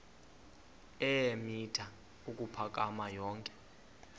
eemitha ukuphakama yonke